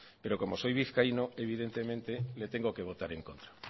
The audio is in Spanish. pero como soy vizcaíno evidentemente le tengo que votar en contra